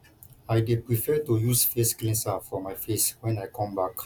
i dey prefer to use face cleanser for my face wen i come back